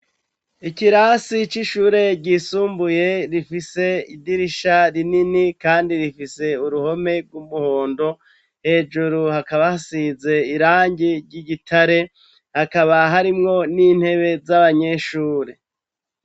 Ikirasi c'ishure gisumbuye rifise idirisha rinini kandi rifise uruhome rw'umuhondo hejuru hakaba asize irangi ry'igitare hakaba harimwo n'intebe z'abanyeshure.